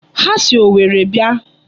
Ha si Owerri bịa.